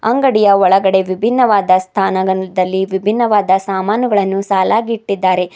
ಅಂಗಡಿಯ ಒಳಗಡೆ ವಿಭಿನ್ನವಾದ ಸ್ಥಾನದಲ್ಲಿ ವಿಭಿನ್ನವಾದ ಸಾಮಾನುಗಳನ್ನು ಸಾಲಾಗಿ ಇಟ್ಟಿದ್ದಾರೆ.